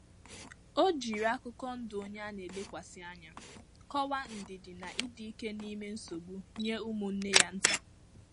Ọ jiri akụkọ ndụ onye a na-elekwasị anya kọwaa ndidi na ịdị ike n’ime nsogbu nye ụmụnne ya nta.